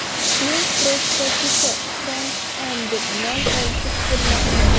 Sinov prototipi Trans Am deb nom olishi kutilmoqda.